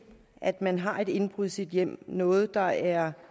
at man har et indbrud i sit hjem noget der er